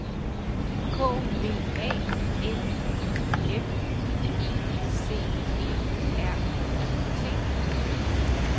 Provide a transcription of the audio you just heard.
K V A L I F I C E R E T